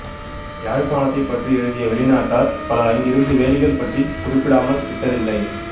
யாழ்ப்பாணத்தைப் பற்றி எழுதிய வெளிநாட்டார் பலர் அங்கிருந்த வேலிகள் பற்றிக் குறிப்பிடாமல் விட்டதில்லை